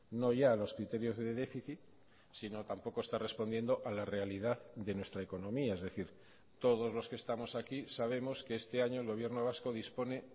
no ya a los criterios de déficit sino tampoco está respondiendo a la realidad de nuestra economía es decir todos los que estamos aquí sabemos que este año el gobierno vasco dispone